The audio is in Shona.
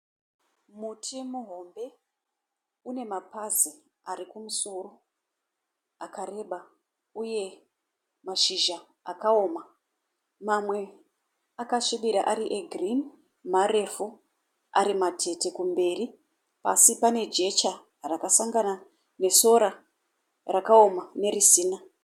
Muti muhombe une mapazi arikumusoro akareba uye mashizha akaoma mamwe akasvibira ari e girini marefu arimatete kumberi. Pasi pane jecha rakasangana nesora rakaoma nerisina.